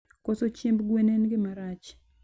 Koso chiemb gwen en gima rach.